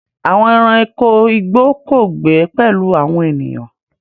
Àwọn ẹranko igbó kò gbé pẹ̀lú àwọn ènìyàn.